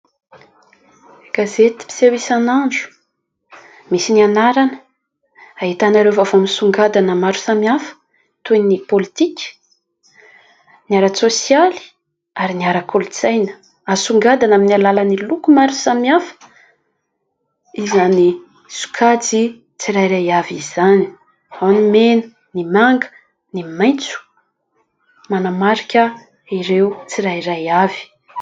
Gazety mpiseho isan'andro, misy ny anarana. Ahitana ireo vaovao misongadina maro samihafa toy ny pôlitika, ny ara-tsosialy, ny ara-kolontsaina. Asongadina amin'ny loko maro samihafa izany sokajy tsirairay avy izany. Ao ny mena, ny manga, ny maitso, manamarika ireo tsirairay avy.